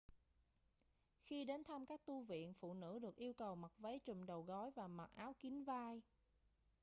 khi đến thăm các tu viện phụ nữ được yêu cầu mặc váy trùm đầu gối và mặc áo kín vai